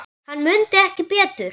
Hann mundi ekki betur!